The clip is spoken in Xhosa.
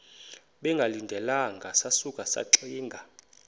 bengalindelanga sasuka saxinga